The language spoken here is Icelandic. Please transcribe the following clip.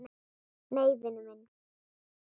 Nei, vinur minn!